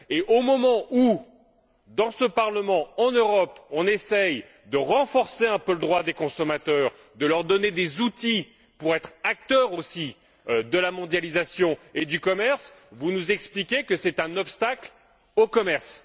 Au moment où, dans ce Parlement, en Europe, on essaie de renforcer quelque peu le droit des consommateurs, de leur donner des outils pour être acteurs, eux aussi, de la mondialisation et du commerce, vous nous expliquez que cela représente un obstacle au commerce.